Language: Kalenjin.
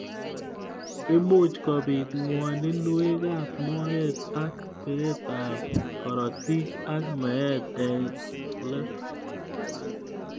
Imuch kobit ngwaninwek ab moet ak beet ab karotik ak meet eng let.